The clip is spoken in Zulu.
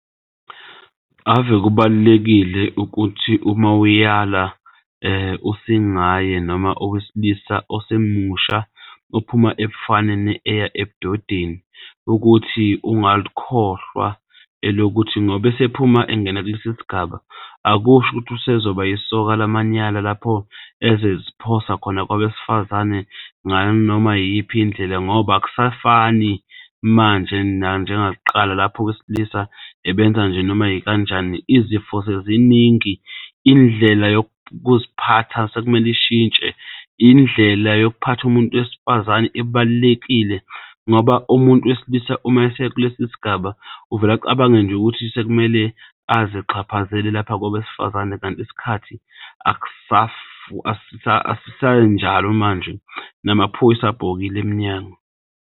Ave kubalulekile ukuthi uma uyala usingaye noma owesilisa osemusha ophuma ebufaneni eya ebudodeni ukuthi ungalikhohlwa elokuthi ngoba esephuma engena kulesi sigaba, akusho ukuthi usezoba isoka lamanyala lapho ezoziphosa khona kwabesifazane nganoma iyiphi indlela ngoba akusafani manje nanjengakuqala, lapho owesilisa ebenza nje noma ikanjani izifo seziningi. Indlela yokuziphatha sekumele ishintshe, indlela yokuphatha umuntu wesifazane ibalulekile ngoba umuntu wesilisa umayesekulesi sigaba uvele nje acabange ukuthi sekumele azixhaphazele lapha kwabesifazane, kanti isikhathi asisenjalo manje namaphoyisa abhokile emnyango.